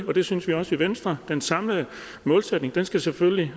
og det synes vi også i venstre at den samlede målsætning selvfølgelig